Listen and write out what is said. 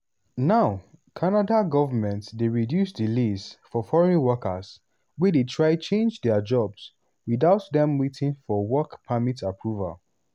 now canada govment dey reduce delays for foreign workers wey dey try change dia jobs without dem waiting for work permit approval.